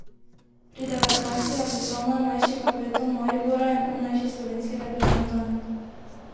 Pri devetnajstih je postal najmlajši kapetan Maribora in najmlajši slovenski reprezentant.